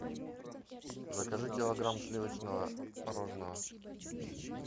закажи килограмм сливочного мороженого